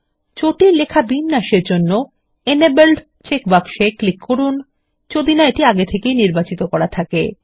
জটিল লেখা বিন্যাসের জন্য এনেবল্ড চেক বক্স এ ক্লিক করুন যদি না আগে থেকে সেটি নির্বাচিত করা থাকে